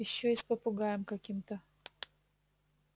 ещё и с попугаем каким-то